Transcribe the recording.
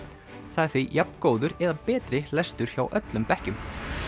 það er því jafngóður eða betri lestur hjá öllum bekkjum